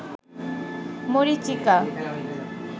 মরীচিকা